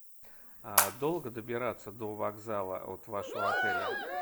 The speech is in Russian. долго добираться до вокзала от вашего отеля